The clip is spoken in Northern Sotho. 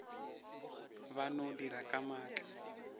ba no dira ka maatla